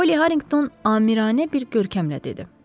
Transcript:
Poly Harrington amiranə bir görkəmlə dedi.